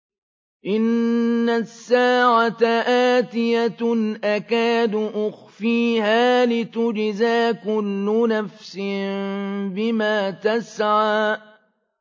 إِنَّ السَّاعَةَ آتِيَةٌ أَكَادُ أُخْفِيهَا لِتُجْزَىٰ كُلُّ نَفْسٍ بِمَا تَسْعَىٰ